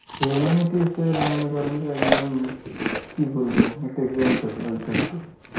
humanities এর মনে করেন যে একদম ইম কি বলবো একটা example ওই ছবিটা